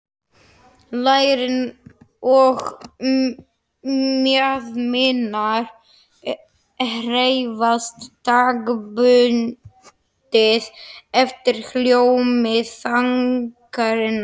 Lærin og mjaðmirnar hreyfast taktbundið eftir hljómi þagnarinnar.